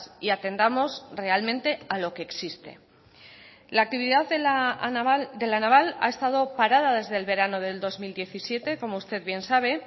y atendamos realmente a lo que existe la actividad de la naval ha estado parada desde el verano de dos mil diecisiete como usted bien sabe